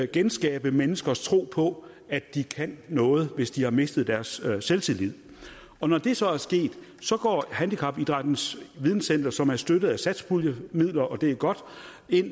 genskabe menneskers tro på at de kan noget hvis de har mistet deres selvtillid og når det så er sket går handicapidrættens videnscenter som er støttet af satspuljemidler og det er godt